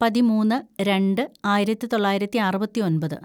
പതിമൂന്ന് രണ്ട് ആയിരത്തിതൊള്ളായിരത്തി അറുപത്തിയൊമ്പത്‌